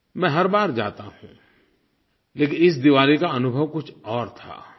मैं हर बार जाता हूँ लेकिन इस दिवाली का अनुभव कुछ और था